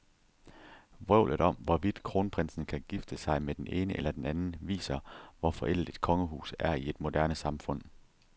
Vrøvlet om, hvorvidt kronprinsen kan gifte sig med den ene eller den anden, viser, hvor forældet et kongehus er i et moderne samfund.